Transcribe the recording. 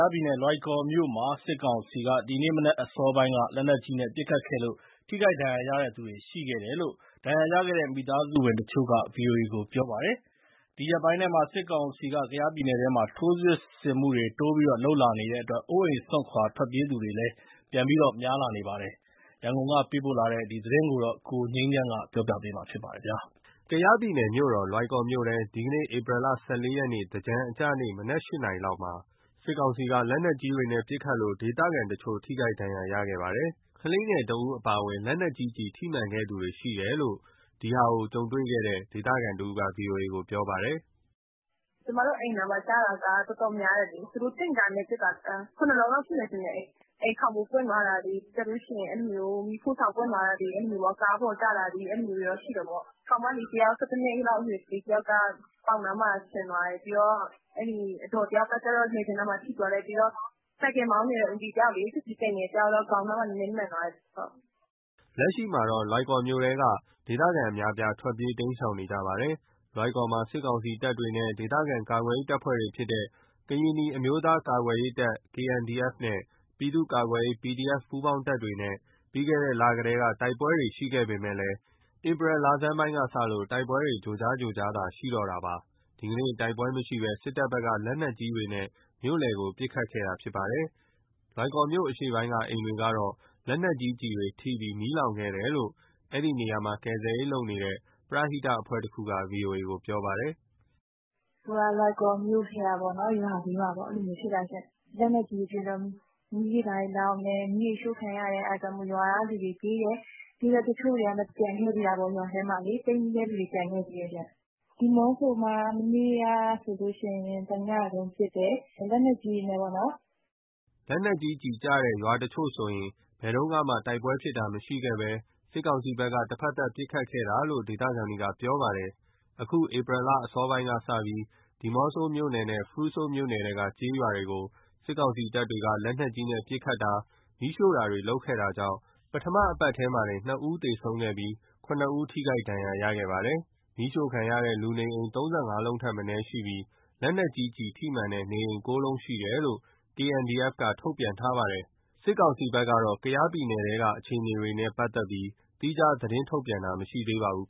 ားပြည်နယ် လွိုင်ကော်မြို့မှာ စစ်ကောင်စီက ဒီမနက်အစောပိုင်း လက်နက်ကြီးနဲ့ ပစ်ခတ်ခဲ့လို့ ထိခိုက်ဒဏ်ရာရသူတွေ ရှိခဲ့တယ်လို့ ဒဏ်ရာရခဲ့တဲ့ မိသားစုဝင် တချို့က ဗွီအိုအေကိုပြောပါတယ်။ ဒီရက်ပိုင်းထဲမှာ စစ်ကောင်စီက ကယားပြည်နယ်ထဲမှာ ထိုးစစ်ဆင်မှုတွေ တိုးပြီးလုပ်လာနေတဲ့အတွက် အိုးအိမ်စွန့်ခွာပြေးသူတွေလည်း ပြန်များလာပါတယ်။ ရန်ကုန်ကပေးပို့တဲ့ ဒီသတင်းကို ကိုငြိမ်းချမ်းက တင်ပြပေးထားပါတယ်။ ကယားပြည်နယ်ရဲ့မြို့တော် လွိုင်ကော်မြို့ထဲကို ဒီနေ့ ဧပြီ ၁၄ ရက် သင်္ကြန်အကျ နေ့ မနက် ၈ နာရီလောက်မှာ စစ်ကောင်စီက လက်နက်ကြီးတွေနဲ့ ပစ်ခတ်ခဲ့လို့ ဒေသခံတချို့ ထိခိုက်ဒဏ်ရာရခဲ့ပါတယ်။ ကလေးငယ်တယောက်အပါအဝင် လက်နက်ကြီးကျည် ထိမှန်ခဲ့သူတွေရှိတယ်လို့ လက်နက်ကြီးပေါက်ကွဲမှုတွေကို ကြုံတွေ့ခဲ့တဲ့ ဒေသခံတဦးက ဗွီအိုအေကိုပြောပါတယ်။ "ကျမတို့အိမ်နားမှာကျတာက တော်တော်များတယ်လေ။ သူတို့တင့်ကားနဲ့ ပစ်တာ ၇ လုံးလောက်ရှိတယ်။ အိမ်ခေါင်မိုး ပွင့်သွားတာတွေ၊ မီးဖိုဆောင်ပွင့် သွားတာတွေ၊ ကားပေါ်ကျတာတွေ၊ အဲလိုရှိတယ်ပေါ့။ ကောင်မလေး ၁၁ နှစ်အရွယ် ကလေးတယောက်ပေါင်နား စင်သွားတယ်။ အဒေါ်တယောက်က လည်ပင်းနားထိသွားတယ်။ ဆိုင်ကယ်မောင်းနေတဲ့ ဦးကြီးတယောက် ပစ္စည်းတင်နေ တာ ခေါင်းနားမှာ နည်းနည်းမှန်သွားတယ်။" လက်ရှိမှာတော့ လွိုင်ကော်မြို့ထဲက ဒေသခံအများအပြား ထွက်ပြေးတိမ်းရှောင်နေကြပါတယ်။ လွိုင်ကော်မှာ စစ်ကောင်စီတပ်တွေနဲ့ ဒေသခံကာကွယ်ရေးအဖွဲ့ တွေဖြစ်တဲ့ ကရင်နီအမျိုးသားများကာကွယ်ရေးတပ် KNDF နဲ့ ပြည်သူ့ကာကွယ်ရေး PDF ပူးပေါင်းတပ်တွေကြား ပြီးခဲ့တဲ့လတွေက တိုက်ပွဲတွေရှိခဲ့ပေမယ့် ဧပြီလဆန်းပိုင်းကစလို့ တိုက်ပွဲတွေ ကြိုးကြားကြိုးကြားသာ ရှိပါတော့တယ်။ ဒီနေ့ကတော့ တိုက်ပွဲမရှိဘဲ စစ်တပ်ဘက်က လက်နက်ကြီးတွေနဲ့ မြို့လယ်ကို ပစ်ခတ်တာဖြစ်ပါတယ်။ လွိုင်ကော်မြို့ အရှေ့ပိုင်းက အိမ်တွေကတော့ လက်နက်ကြီးကျည်တွေကျပြီး မီးလောင်ခဲ့တယ်လို့ အဲဒီနေရာမှာ ကယ်ဆယ် ရေးလုပ်နေတဲ့ ပရဟိတအဖွဲ့တခုက ဗွီအိုအေကို ပြောပါတယ်။ "လွိုင်ကော်မြို့ထဲက ရွာလေးရွာပေါ့ လက်နက်ကြီးတွေပစ်တော့ မီးတွေဘာတွေလောင်တယ်၊ မီးတွေရှို့ခံရတယ် အဲဒါမို့ ရွာကလူတွေပြေးတယ်။ တချို့ကကျန်ခဲ့တာပေါ့။ ရွာထဲမှာ ပိတ်မိတဲ့သူတွေကျန်ခဲ့သေးတယ်။ ဒီးမော့ဆိုမှာ မနေ့က ဆိုရင် တညလုံးပစ်တယ်၊ လက်နက်ကြီးတွေနဲ့ပေါ့နော်။" လက်နက်ကြီးကျည်တွေကျတဲ့ထဲက ရွာတချို့ဆိုရင် ဘယ်တုန်းကမှ တိုက်ပွဲတွေဖြစ်ခဲ့တာမရှိဘဲ စစ်ကောင်စီဘက်က တဖက်သတ် ပစ်ခတ်ခဲ့တာလို့ ဒေသခံတွေကပြောပါတယ်။ အခု ဧပြီလအစောပိုင်းကစပြီး ဒီးမော့ဆိုမြို့နယ်နဲ့ ဖရူဆိုမြို့နယ် ထဲက ကျေးရွာတွေကို စစ်ကောင်စီတပ်တွေက လက်နက်ကြီးနဲ့ပစ်ခတ်တာ၊ မီးရှို့တာတွေလုပ်ခဲ့တာကြောင့် ပထမပတ်ထဲမှာတင် ၂ ဦး သေဆုံးခဲ့ပြီး ၇ ဦး ထိခိုက် ဒဏ်ရာရခဲ့တယ်လို့ပြောပါတယ်။ မီးရှို့ခံရတဲ့ လူနေအိမ် ၃၅ လုံးထက်မနည်းရှိပြီး လက်နက်ကြီးကျည် ထိမှန်တဲ့နေအိမ် ၉ လုံးရှိတယ်လို့ KNDF ကထုတ်ပြန်ထားပါတယ်။ စစ်ကောင်စီဘက်ကတော့ ကယားပြည်နယ်ထဲက အခြေအနေတွေနဲ့ ပတ်သက်ပြီး သီးခြားသတင်းထုတ်ပြန်တာ မရှိသေးပါဘူး